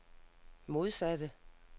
modsatte